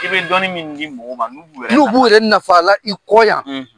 I bɛ dɔnni min di mɔgɔma n'u b'u yɛrɛ naf'ala i kɔ yan.